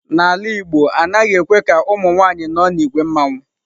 N'ala igbo, anaghị ekwe ka ụmụ nwanyị nọ n'ìgwè mmanwu.